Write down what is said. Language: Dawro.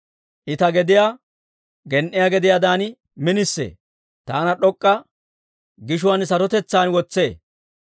I ta gediyaa gen"iyaa gediyaadan minisee. Taana d'ok'k'a gishuwaan sarotetsaan wotsee.